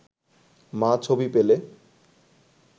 মা ছবি পেলে